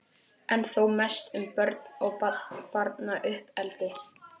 en þó mest um börn og barnauppeldi.